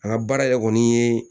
An ka baara yɛrɛ kɔni ye